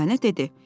Dürdanə dedi: